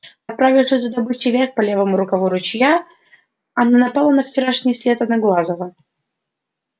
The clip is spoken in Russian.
отправившись за добычей вверх по левому рукаву ручья она напала на вчерашний след одноглазого